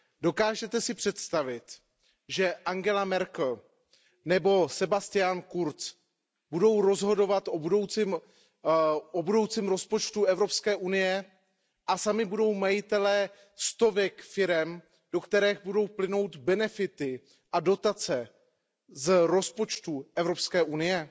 Dokážete si představit, že Angela Merkelová nebo Sebastian Kurz budou rozhodovat o budoucím rozpočtu Evropské unie a sami budou majitelé stovek firem, do kterých budou plynout benefity a dotace z rozpočtu Evropské unie?